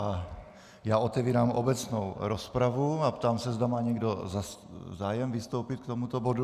A já otevírám obecnou rozpravu a ptám se, zda má někdo zájem vystoupit k tomuto bodu.